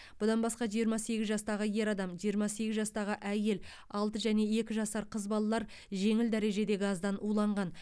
бұдан басқа жиырма сегіз жастағы ер адам жиырма сегіз жастағы әйел алты және екі жасар қыз балалар жеңіл дәрежеде газдан уланған